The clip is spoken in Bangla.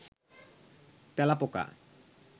তেলাপোকা